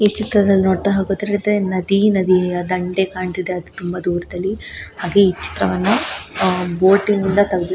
ಈ ಚಿಕ್ಕದಲ್ಲಿ ನೋಡತ್ತಾ ಹೋದ್ರೆ ದೆ ನದಿ ನದಿಯ ದಂಡೆ ಕಾಣತ್ತಿದೆ ಅದು ತುಂಬಾ ದೂರದಲ್ಲಿ ಹಾಗೆ ಈ ಚಿತ್ರವನ್ನ ಅಹ್ ಬೋಟಿನಿಂದ ತಗದಿರೋವಂತ --